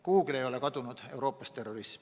Kuhugi ei ole kadunud Euroopas terrorism.